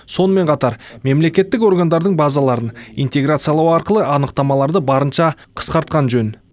сонымен қатар мемлекеттік органдардың базаларын интеграциялау арқылы анықтамаларды барынша қысқартқан жөн